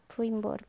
Foi embora.